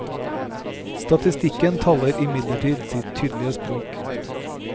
Statistikken taler imidlertid sitt tydelige språk.